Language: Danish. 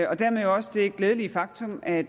og dermed jo også det glædelige faktum at